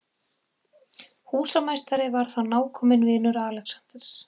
Húsameistari var þá nákominn vinur Alexanders